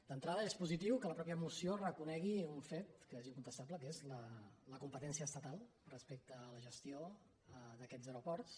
d’entrada és positiu que la mateixa moció reconegui un fet que és incontestable que és la competència estatal respecte a la gestió d’aquests aeroports